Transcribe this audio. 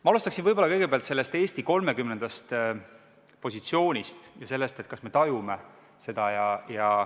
Ma alustan Eesti 30. positsioonist ja sellest, kas me tajume seda.